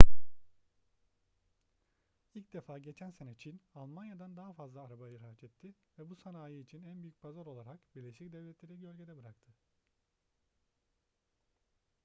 i̇lk defa geçen sene çin almanya'dan daha fazla araba ihraç etti ve bu sanayi için en büyük pazar olarak birleşik devletler'i gölgede bıraktı